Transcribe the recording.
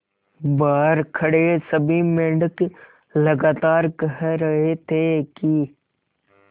बहार खड़े सभी मेंढक लगातार कह रहे थे कि